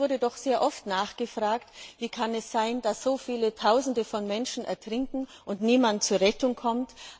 Es wurde doch sehr oft nachgefragt, wie es sein kann, dass Tausende von Menschen ertrinken und niemand ihnen zur Rettung kommt.